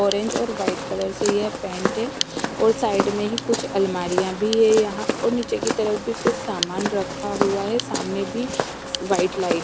orange और white colour से यह पैंट है और साइड में ही कुछ अलमारियां भी है यहां और नीचे की तरफ भी कुछ सामान रखा हुआ है सामने भी --